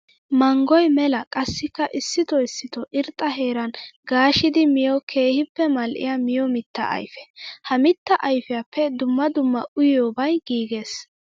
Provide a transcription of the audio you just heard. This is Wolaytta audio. Manggoy mela qassikka issitto issitto irxxa heeran gaashshiddi miyo keehippe mali'iya miyo mitta ayfe. Ha mitta ayfiyappe dumma dumma uyiyobay giiges.